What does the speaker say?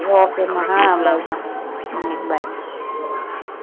okay மா ah bye மா ah bye